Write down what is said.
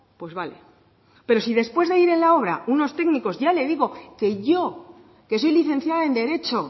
pues vale pero si después de ir en la obra unos técnicos ya le digo que yo que soy licenciada en derecho